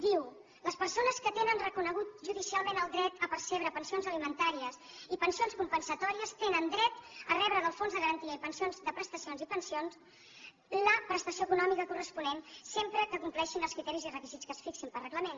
diu les persones que tenen reconegut ju dicialment el dret a percebre pensions alimentàries i pensi ons compensatòries tenen dret a rebre del fons de garantia de prestacions i pensions la prestació econòmica corresponent sempre que compleixin els criteris i requisits que es fixin per reglament